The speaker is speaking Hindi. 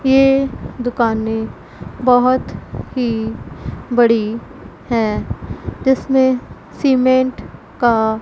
ये दुकानें बहुत ही बड़ी हैं जिसमें सीमेंट का--